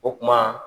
O kuma